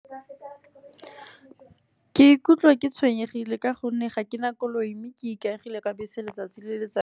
Ke ikutlwa ke tshwenyegile ka gonne ga ke na koloi, mme ke ikaegile ka bese letsatsi le letsatsi.